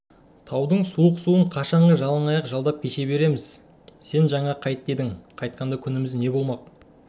таудың суық суын қашанғы жалаңаяқ жалдап кеше береміз жаңа сен қайт дедің қайтқанда күніміз не болмақ